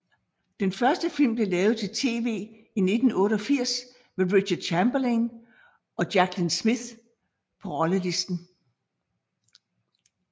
Den første film blev lavet til tv i 1988 med Richard Chamberlain og Jaclyn Smith på rollelisten